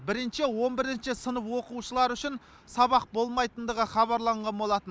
бірінші он бірінші сынып оқушылары үшін сабақ болмайтындығы хабарланған болатын